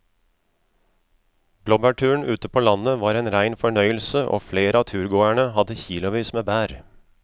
Blåbærturen ute på landet var en rein fornøyelse og flere av turgåerene hadde kilosvis med bær.